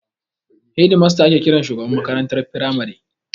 Hedimasta ake kiran shugaban makarantar firamare.